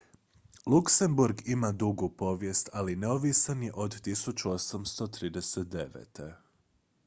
luksemburg ima dugu povijest ali neovisan je od 1839